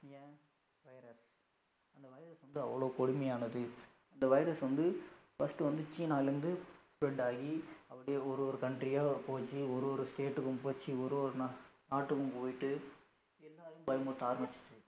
இது அவளோ கொடுமயானது இந்த virus வந்து first வந்து China ல இருந்து spread ஆகி அப்படியே ஒரு ஒரு country ஆ போச்சி ஒரு ஒரு state க்கும் போச்சி ஒரு ஒரு நாட்டுக்கும் போய்ட்டு எல்லாரையும் பயமுறுத்த ஆரமிச்சது